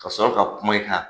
Ka sɔrɔ ka kuma in kan